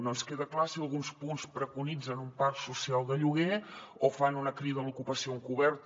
no ens queda clar si alguns punts preconitzen un parc social de lloguer o fan una crida a l’ocupació encoberta